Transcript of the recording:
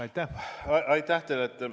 Aitäh teile!